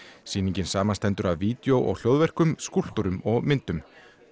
sýningin samanstendur af vídeó og skúlptúrum og myndum